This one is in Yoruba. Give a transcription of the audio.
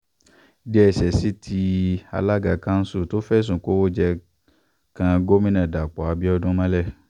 dss tí alága kanṣu tó fẹ̀sùn ìkówóje kan gomina dapò abiodun mọ́lẹ̀